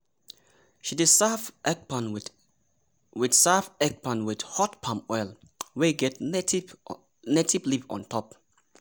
she dey serve ekpang with serve ekpang with hot palm oil wey get native leaf on top.